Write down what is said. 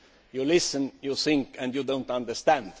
You listen, you think and you do not understand.